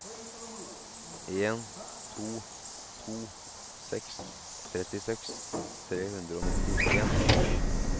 en to to seks trettiseks tre hundre og nittien